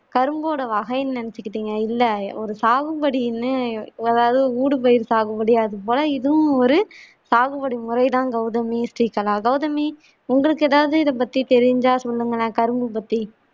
கரும்போட வகைன்னு நினைச்சிகிட்டினங்க இல்ல ஒரு சாகும்படிண்ணு உங்களால போல இதுவும் ஒரு சாகுபடி முறை தான் கவுதமி ஸ்ரீகலா கவுதமி உங்களுக்கு எதாவது இத பத்தி தெரிஞ்சா சொல்லுங்களேன்